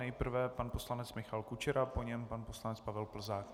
Nejprve pan poslanec Michal Kučera, po něm pan poslanec Pavel Plzák.